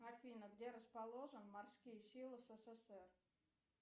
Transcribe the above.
афина где расположен морские силы ссср